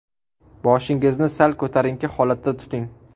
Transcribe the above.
Boshingizni sal ko‘tarinki holatda tuting.